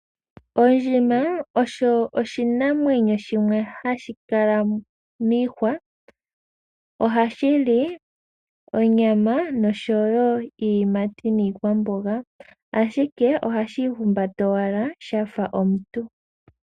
Ondjima osho oshinamwenyo shimwe hashi kala miihwa. Ohashi li onyama, nosho wo iiyimati niikwamboga. Ashike ohashi ihumbata owala sha fa omuntu.